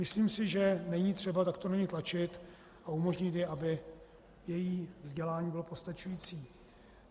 Myslím si, že není třeba takto na ni tlačit a umožnit jí, aby její vzdělání bylo postačující.